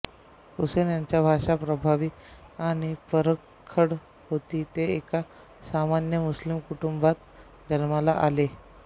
हुसेन यांची भाषा प्रभावी आणि परखड होती ते एका सामान्य मुस्लिम कुटुंबात जन्माला आले